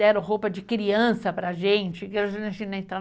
Deram roupa de criança para a gente.